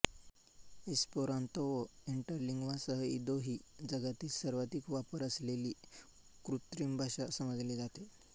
Esperanto व इंटरलिंग्वासह Ido ही जगातील सर्वाधिक वापर असलेली कृत्रिम भाषा समजली जाते